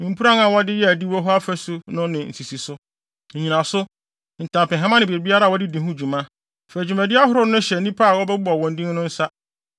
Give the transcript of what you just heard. mpuran a wɔde yɛɛ adiwo hɔ afasu no ne ne nsisiso, nnyinaso, ntampehama ne biribiara a wɔde di ho dwuma. Fa dwumadi ahorow no hyɛ nnipa a wobɛbobɔ wɔn din no nsa.